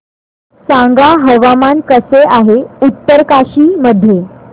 सांगा हवामान कसे आहे उत्तरकाशी मध्ये